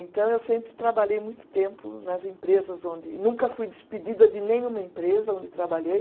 Então, eu sempre trabalhei muito tempo nas empresas onde, nunca fui despedida de nenhuma empresa onde trabalhei.